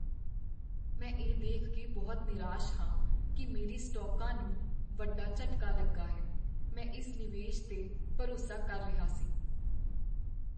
ਮੈਂ ਇਹ ਦੇਖ ਕੇ ਬਹੁਤ ਨਿਰਾਸ਼ ਹਾਂ ਕੀ ਮੇਰੇ ਸਟਾਕਾਂ ਨੂੰ ਵੱਡਾ ਝਟਕਾ ਲੱਗਾ ਹੈ। ਮੈਂ ਇਸ ਨਿਵੇਸ਼ 'ਤੇ ਭਰੋਸਾ ਕਰ ਰਿਹਾ ਸੀ।